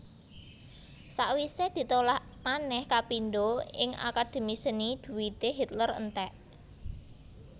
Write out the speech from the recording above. Sawisé ditolak manèh kapindho ing Akademi Seni dhuwité Hitler entèk